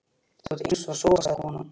Þú eyst og sóar, sagði konan.